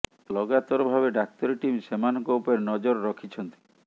ଲଗାତର ଭାବେ ଡାକ୍ତରୀ ଟିମ୍ ସେମାନଙ୍କ ଉପରେ ନଜର ରଖିଛନ୍ତି